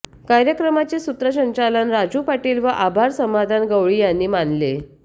कार्यक्रमाचे सूत्रसंचालन राजू पाटील व आभार समाधान गवळी यांनी मानले